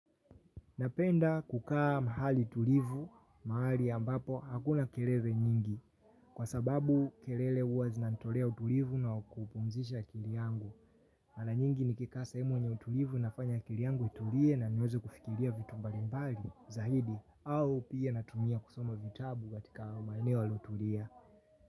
Napenda kukaa mahali tulivu, mahali ambapo hakuna kelele nyingi, kwa sababu kelele huwa zinanitolea utulivu na kupumzisha akili yangu. Mara nyingi nikikaa sehemu yenye utulivu inafanya akili yangu itulie na niweze kufikiria vitu mbalimbali, zaidi, au pia natumia kusoma vitabu katika maneo yaliyotulia.